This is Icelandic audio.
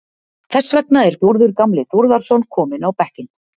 Þess vegna er Þórður gamli Þórðarson kominn á bekkinn.